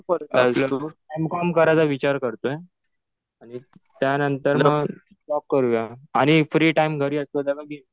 M com करायचा विचार करतोय. त्या नंतर मग जॉब करूया. आणि फ्री टाइम घरी असतो तेव्हा